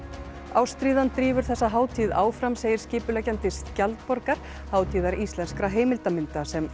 ástríðan drífur þessa hátíð áfram segir skipuleggjandi skjaldborgar hátíðar íslenskra heimildarmynda sem